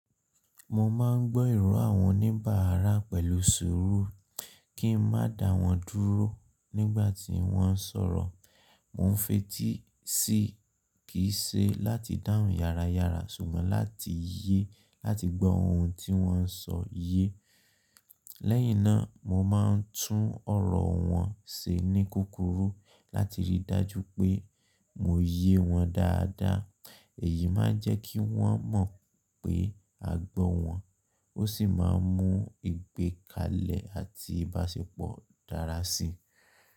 Mo ma ń gbọ́ ìrò àwọn oníbàárà pẹ̀lú ṣùrú kí n má dá wọ́n dúró nígbà tí wọ́n sọ̀rọ. Mo ń fetí sí kì í ṣe láti dáhùn yáráyárá ṣùgbọ́n láti láti gbọ́ ohun tí wọ́n sọ̀ ye. Lẹ́yìn náà, mo máa ń tún ọ̀rọ̀ wọn ṣe ní kúkurú láti rí i dájú pé mo ye wọ́n dáadáa. Èyí máa ń jẹ́ kí wọ́n mọ̀ pé a gbọ́ wọn, ó sì máa mú ìgbékalẹ̀ àti ìbáṣepọ̀ dára síi.